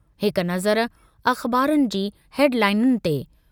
हिक नज़र अख़बारनि जी हेडलाइनुनि ते...